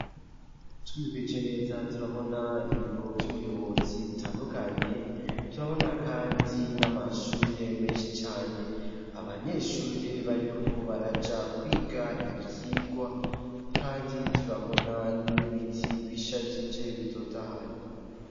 Twiheje neza turabona ibiro vy'ubuyobozi bitandukanye turabona kandi n'amashure menshi cane abanyeshure bariko baraja kwiga ibyigwa kandi turabona n'ibiti bishagije bitotahaye.